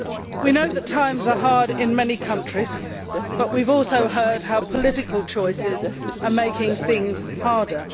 We know that times are hard in many countries, but we have also heard how political choices are making things harder.